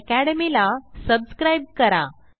phpacademyला subscribe करा